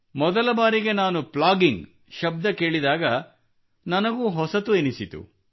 ಮೊದಲ ಬಾರಿಗೆ ನಾನು ಪ್ಲಾಗಿಂಗ್ ಶಬ್ದ ಕೇಳಿದಾಗ ನನಗೂ ಹೊಸದೆನಿಸಿತು